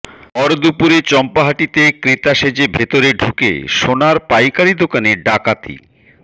ভর দুপুরে চম্পাহাটিতে ক্রেতা সেজে ভেতরে ঢুকে সোনার পাইকারি দোকানে ডাকাতি